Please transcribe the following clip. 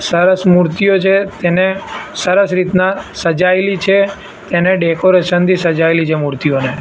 સરસ મૂર્તિઓ છે તેને સરસ રીતના સહાયેલી છે તેને ડેકોરેશન થી સજાયેલી છે મૂર્તિઓને.